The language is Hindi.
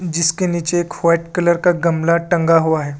जिसके नीचे एक वाइट कलर का गमला टंगा हुआ है।